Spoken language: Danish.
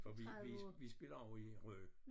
For vi vi vi spiller jo i Rø